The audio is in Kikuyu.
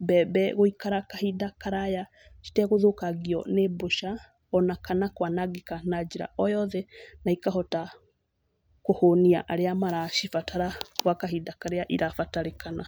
mbembe gũikara kahinda karaya citegũthũkangio nĩ mbũca ona kana kwanangĩka na njĩra o yothe. Na ikahota kũhũnia arĩa maracibatara gwa kahinda karĩa irabatarĩkana.